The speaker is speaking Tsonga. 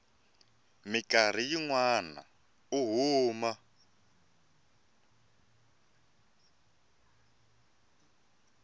mikarhi yin wana u huma